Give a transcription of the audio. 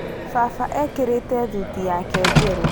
Baba ekĩrĩte thuti yake njerũ